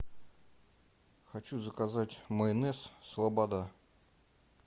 хочу заказать майонез слобода